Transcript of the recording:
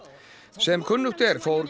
sem kunnugt er fór